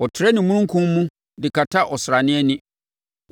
Ɔtrɛ ne omununkum mu de kata ɔsrane ani.